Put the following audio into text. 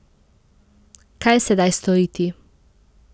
Kaj sedaj storiti?